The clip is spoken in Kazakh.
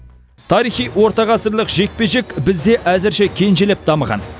тарихи орта ғасырлық жекпе жек бізде әзірше кенжелеп дамыған